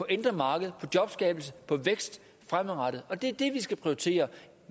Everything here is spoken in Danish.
indre marked på jobskabelse på vækst fremadrettet og det er det vi skal prioritere